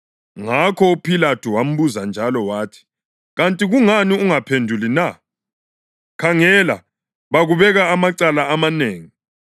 Ngakho uPhilathu wambuza njalo wathi, “Kanti kungani ungaphenduli na? Khangela, bakubeka amacala amanengi.”